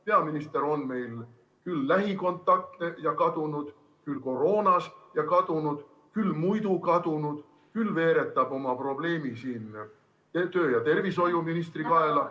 Peaminister on meil küll lähikontaktne ja kadunud, küll koroonas ja kadunud, küll muidu kadunud, küll veeretab oma probleemid tervise- ja tööministri kaela.